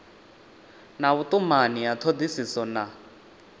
na vhutumani ya thodisiso na